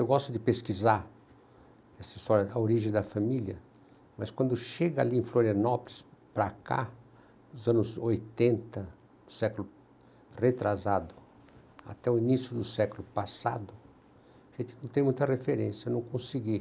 Eu gosto de pesquisar essa história da origem da família, mas quando chega ali em Florianópolis, para cá, nos anos oitenta, século retrasado, até o início do século passado, não tenho muita referência, não consegui.